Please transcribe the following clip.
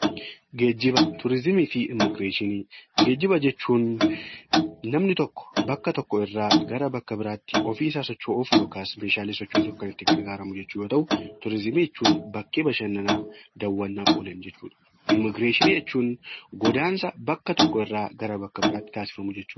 Geejjiba jechuun namni tokko bakka tokko irraa gara bakka biraatti ofiisaa socho'uuf yookaas meeshaalee sochoosuuf kan itti gargaaaramu yoo ta'u, turizimii jechuun bakkee bashannanaa, daawwannaaf oolan jechuudha. Immigireeshinii jechuun godaansa bakka tokko irraa gara bakka biraatti taasifamu jechuudha.